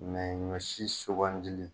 ɲɔ si sugandili.